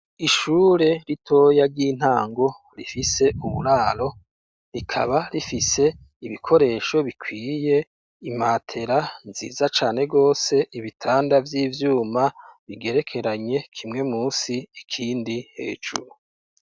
Ishuri ritoya ry'intango rifise uburaro rikaba rifise ibikoresho bikwiye imatera nziza cane gose ibitanda vyivyuma bigerekeranye kimwe munsi ikindi hejuru.